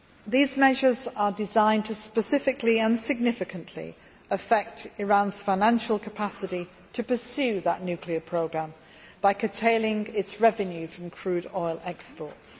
These measures are designed to specifically and significantly affect Iran's financial capacity to pursue that nuclear programme by curtailing its revenue from crude oil exports.